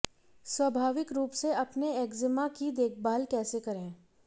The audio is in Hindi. स्वाभाविक रूप से अपने एक्जिमा की देखभाल कैसे करें